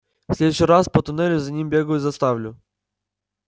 в следующий раз по туннелю за ним бегаю заставлю